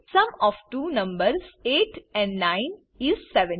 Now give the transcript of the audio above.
sum of two numbers 8 and 9 is 17